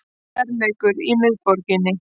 Kærleikur í miðborginni